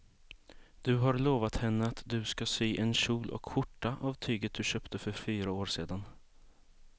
Du har lovat henne att du ska sy en kjol och skjorta av tyget du köpte för fyra år sedan.